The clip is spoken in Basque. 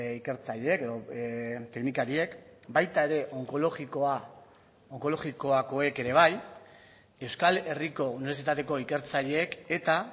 ikertzaileek edo teknikariek baita ere onkologikoakoek ere bai euskal herriko unibertsitateko ikertzaileek eta